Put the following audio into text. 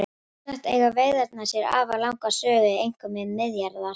Sjálfsagt eiga veiðarnar sér afar langa sögu einkum við Miðjarðarhaf.